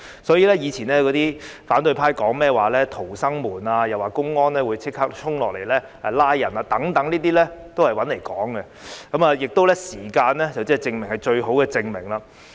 所以，過去反對派說甚麼逃生門，又說內地公安可以立刻衝下來拘捕人等，均是胡說八道的，而時間亦是最好的證明。